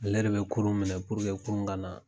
Ale de be k kurun minɛ kurun ka na